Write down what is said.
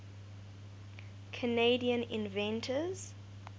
canadian inventors